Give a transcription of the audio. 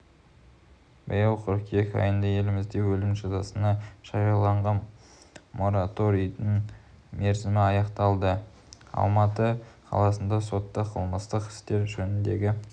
биыл қыркүйек айында елімізде өлім жазасына жарияланған мораторийдің мерзімі аяқталады алматы қалалық соты қылмыстық істер жөніндегі